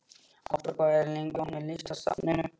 Ástrós, hvað er lengi opið í Listasafninu?